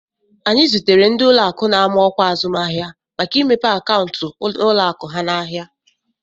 Anyị zụtere ndị ụlọakụ na-ama ọkwa azụmahịa maka imepe akaụntụ n'ụlọakụ ha n'ahịa